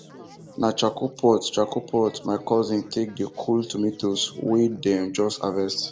na charcoal pot charcoal pot my cousin take dey cool tomatoes wen them just harvest